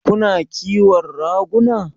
Kuna ƙiwon raguna?